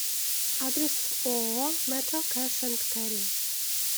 адрес ооо метро кэш энд кэрри